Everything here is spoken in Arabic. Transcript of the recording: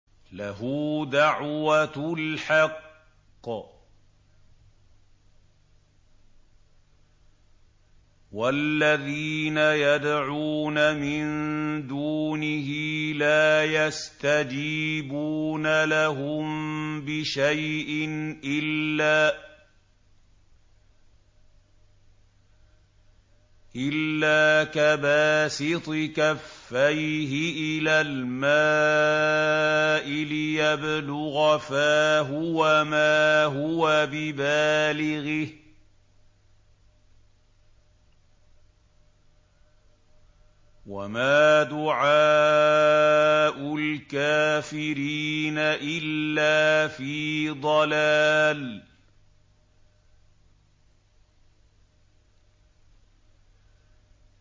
لَهُ دَعْوَةُ الْحَقِّ ۖ وَالَّذِينَ يَدْعُونَ مِن دُونِهِ لَا يَسْتَجِيبُونَ لَهُم بِشَيْءٍ إِلَّا كَبَاسِطِ كَفَّيْهِ إِلَى الْمَاءِ لِيَبْلُغَ فَاهُ وَمَا هُوَ بِبَالِغِهِ ۚ وَمَا دُعَاءُ الْكَافِرِينَ إِلَّا فِي ضَلَالٍ